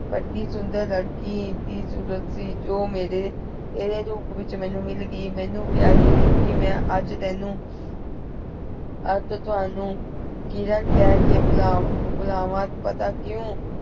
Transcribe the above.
ਵਧੀ ਸੁੰਦਰ ਲੜਕੀ ਦੀ ਸੂਰਤ ਸੀ ਜੋ ਮੇਰੇ ਤੇਰੇ ਰੂਪ ਵਿਚ ਮੈਨੂੰ ਮਿਲ ਗਈ। ਮੇਨੂ ਪਯਾਰੀ ਰੀਮਪੀ ਮੈ ਆਜ ਤੇਨੁ ਆਜ ਤਾਵਾਣੁ ਕਿਰਨ ਕਰ ਕੇ ਭੁਲਾ ਭੁਲਾਵਾ ਪਤਾ ਕਿਊ